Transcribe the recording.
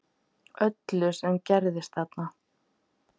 Öllu sem gerðist þarna